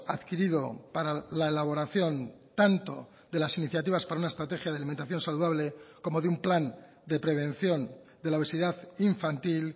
adquirido para la elaboración tanto de las iniciativas para una estrategia de alimentación saludable como de un plan de prevención de la obesidad infantil